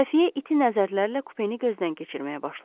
Xəfiyyə iti nəzərlərlə kupeni gözdən keçirməyə başladı.